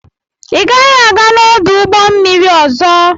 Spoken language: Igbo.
Ị gaghị aga n'ọdụ ụgbọ mmiri ọzọ!